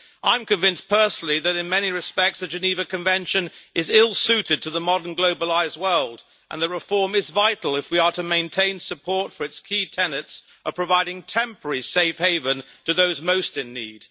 I am convinced personally that, in many respects, the Geneva Convention is ill-suited to the modern globalised world, and that reform is vital if we are to maintain support for its key tenets of providing temporary safe haven to those most in need.